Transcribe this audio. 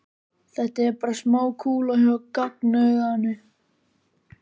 Það er bara smá kúla hjá gagnauganu.